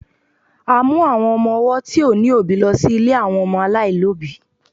a mu àwọn ọmọ ọwọ ti o ni obi lo sí ilè àwọn ọmọ alailobi